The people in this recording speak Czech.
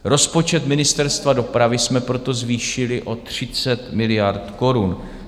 Rozpočet Ministerstva dopravy jsme proto zvýšili o 30 miliard korun.